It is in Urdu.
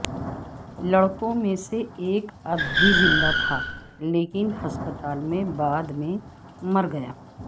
لڑکوں میں سے ایک اب بھی زندہ تھا لیکن ہسپتال میں بعد میں مر گیا